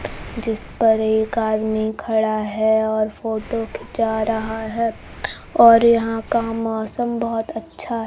जिस पर एक आदमी खड़ा है और फोटो खीचा रहा है और यहां का मौसम बहोत अच्छा --